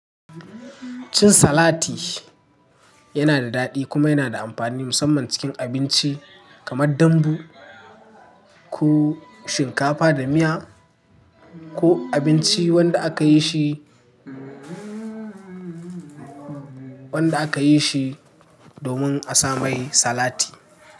Cin salati yana da daɗi kuma yana da amfani musamman cikin abinci kamar dambu ko shinkafa da miya ko abinci wanda a kayi shi. Wanda a kayi shi domin a saa mai salati.